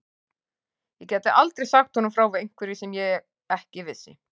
Ég gæti aldrei sagt honum frá einhverju sem ég ekki vissi.